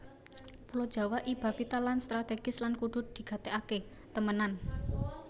Pulo Jawa iba vital lan strategis lan kudu digatèkaké temenan